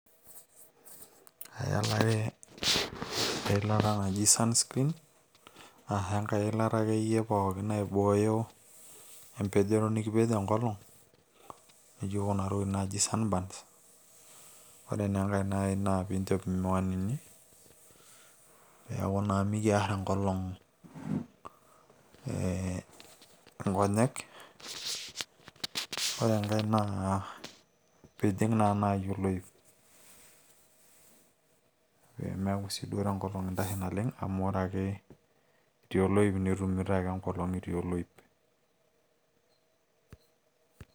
ayalare eilata naji sunscreen aashu enkay ilata akeyie pookin naibooyo empejoto nikipej enkolong nijo kuna tokitin naijo sunburns ore naa enkay naaji naa piinchop imiwanini peeku naa mikiarr enkolong ee nkonyek ore enkay naa piijing naa naaji oloip peemeku siiduo tenkolong intashe naleng amu ore ake itii oloip nitumito ake enkolong itii oloip.